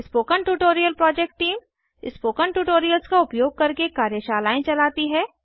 spoken tutorial project team 160 spoken tutorials का उपयोग करके कार्यशालाएं चलती है